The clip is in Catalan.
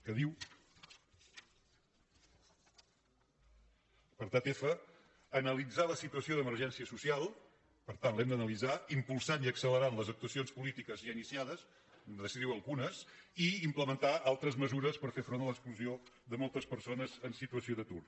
apartat fsituació d’emergència social per tant l’hem d’ana·litzar impulsant i accelerant les actuacions políti·ques ja iniciades hem de decidir·ne algunes i im·plementar altres mesures per fer front a l’exclusió de moltes persones en situació d’atur